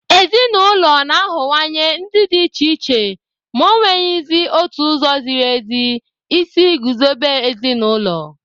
Ezinụlọ na-aghọwanye ndị dị iche iche, ma ọ nweghịzi otu ụzọ “ziri ezi” isi guzobe ezinụlọ.